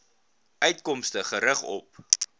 uitkomste gerig op